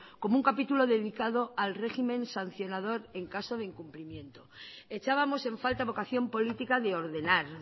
como un capítulo dedicado al régimen sancionador en caso de incumplimiento echábamos en falta vocación política de ordenar